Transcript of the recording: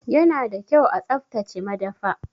Ya na da kyau a tsaftace madafa.